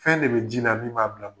Fɛn de bɛ jii la min b'a bila